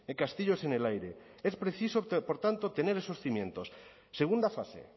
castillos en el aire es preciso por tanto tener esos cimientos segunda fase